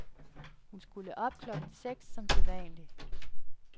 Hun skulle op klokken seks som sædvanlig.